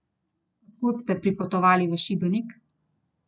Od kod ste pripotovali v Šibenik?